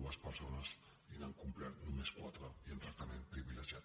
dues persones i n’han complert només quatre i amb tractament privilegiat